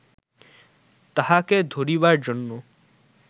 তাহাকে ধরিবার জন্য